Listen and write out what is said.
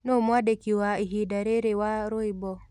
Nũũ mwandĩkĩ wa ĩhĩnda rĩrĩ wa rwĩmbo